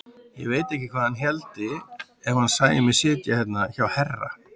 Ég veit ekki hvað hann héldi ef hann sæi mig sitja hérna hjá herra!